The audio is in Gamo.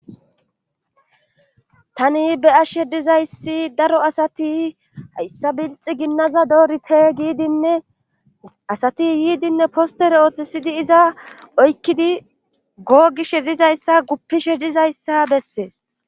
Tani be'ashshe dizayssi daro asati hayssa bilxi ginnaza doorite giidinne asati yiidinne postere ooththesidi iza oykkidi googishe dizayssa guppishe dizayssa bessees.